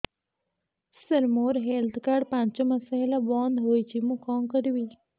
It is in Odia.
ସାର ମୋର ହେଲ୍ଥ କାର୍ଡ ପାଞ୍ଚ ମାସ ହେଲା ବଂଦ ହୋଇଛି ମୁଁ କଣ କରିବି